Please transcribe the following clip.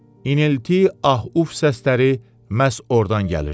İnilti, ah-uf səsləri məhz ordan gəlirdi.